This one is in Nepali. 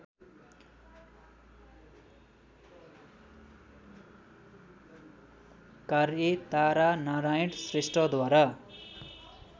कार्य तारानारायण श्रेष्ठद्वारा